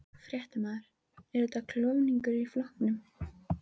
Fréttamaður: Er þetta klofningur í flokknum?